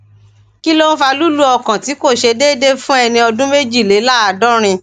kí ló ń fa lulu ọkàn ti ko se deede fun eni ọdún méjìléláàádọrin